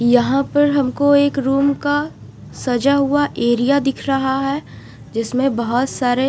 यहां पर हमको एक रूम का सजा हुआ एरिया दिख रहा है जिसमें बहोत सारे--